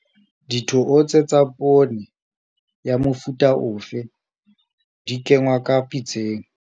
Dithootse tsa poone, ya mofuta ofe, di kenngwa ka pitseng.